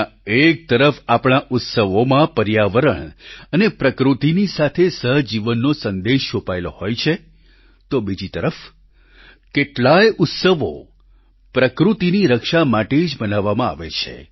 જ્યાં એક તરફ આપણા ઉત્સવોમાં પર્યાવરણ અને પ્રકૃતિની સાથે સહજીવનનો સંદેશ છુપાયેલો હોય છે તો બીજી તરફ કેટલાયે ઉત્સવો પ્રકૃતિની રક્ષા માટે જ મનાવવામાં આવે છે